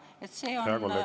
Hea kolleeg, teie aeg!